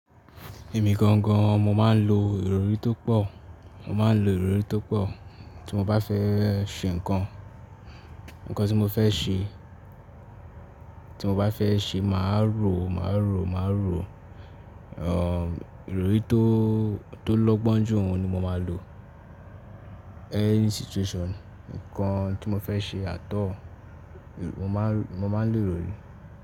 Èmi gangan mo máa ń lo ìrọrí tó pọ̀, mo máa ń lo ìrọrí tó pọ̀. Tí mo bá fẹ́ ṣe nǹkan, nǹkan tí mo fẹ́ ṣe, tí mo bá fẹ́ ṣe màá rò, màá rò, màá rò, ehn, ìrọrí tó, tó lọ́gbọ́n jù òun ni mo máa lò any situation. Nǹkan tí mo fẹ́ ṣe at all, mo máa ń rò, mo máa ń lò ìrọrí.